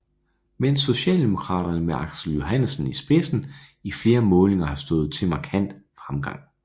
Mens Socialdemokraterne med Aksel Johannesen i spidsen i flere målinger har stået til markant fremgang